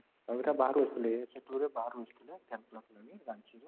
ବାହାରୁ ଆସିଥିଲେ essay 2 ରେ ବାହାରୁ ଆସିଥିଲେ